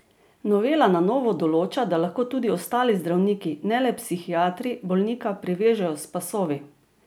Novela na novo določa, da lahko tudi ostali zdravniki, ne le psihiatri, bolnika privežejo s pasovi.